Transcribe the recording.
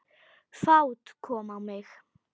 Fát kom á mig.